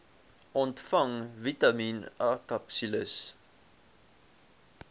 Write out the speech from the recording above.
ontvang vitamien akapsules